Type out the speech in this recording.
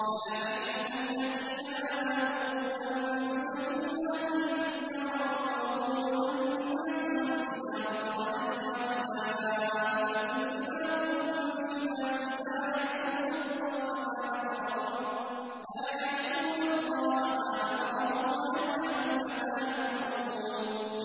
يَا أَيُّهَا الَّذِينَ آمَنُوا قُوا أَنفُسَكُمْ وَأَهْلِيكُمْ نَارًا وَقُودُهَا النَّاسُ وَالْحِجَارَةُ عَلَيْهَا مَلَائِكَةٌ غِلَاظٌ شِدَادٌ لَّا يَعْصُونَ اللَّهَ مَا أَمَرَهُمْ وَيَفْعَلُونَ مَا يُؤْمَرُونَ